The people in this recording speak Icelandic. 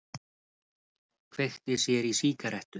Kveikti sér í sígarettu.